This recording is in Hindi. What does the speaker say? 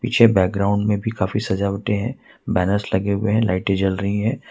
पीछे बैकग्राउंड में भी काफी सजावट है बैनर्स लगे हुए हैं लाइट जल रही है।